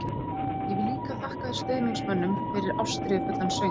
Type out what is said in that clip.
Ég vil líka þakka stuðningsmönnum fyrir ástríðufullan stuðning.